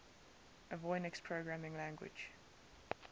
avionics programming language